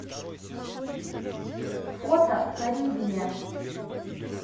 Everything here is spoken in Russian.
фото карибия